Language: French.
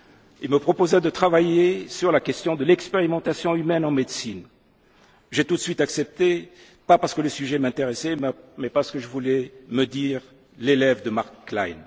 Il me proposa de travailler sur la question de l'expérimentation humaine en médecine. J'ai tout de suite accepté, pas parce que le sujet m'intéressait, mais parce que je voulais me dire l'élève de Marc